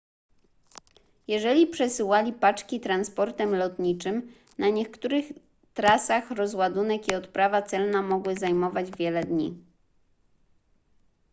jeżeli przesyłali paczki transportem lotniczym na niektórych trasach rozładunek i odprawa celna mogły zajmować wiele dni